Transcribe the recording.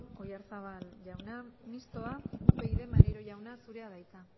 oyarzabal jauna mistoa upyd maneiro jauna zurea da hitza